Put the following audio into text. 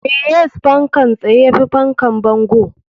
Me yas fankan tsaye yafi fankan bango?